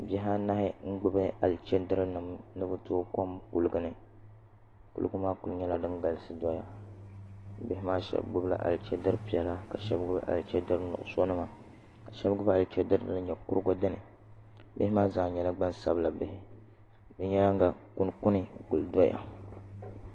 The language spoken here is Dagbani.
Bihi anahi n gbubi alichɛdiri nim ni bi tooi kom kuligi ni kuligi maa ku nyɛla din galisi doya bihi maa shab gbubila alichɛdiri piɛla ka shab gbubi alichɛdiri nuɣso nima ka shab gbubi alichɛdiri din nyɛ kurigu dini bihi maa zaa nyɛla gban sabila bihi bi nyaanga kuli kpuni n kuli doya